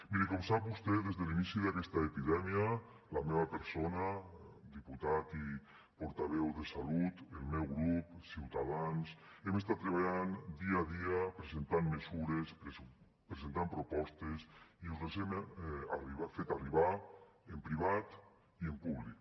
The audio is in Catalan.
miri com sap vostè des de l’inici d’aquesta epidèmia la meva persona diputat i portaveu de salut el meu grup ciutadans hem estat treballant dia a dia presentant mesures presentant propostes i us les hem fet arribar en privat i en públic